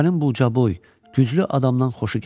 Körpənin bu ucaboy, güclü adamdan xoşu gəlirdi.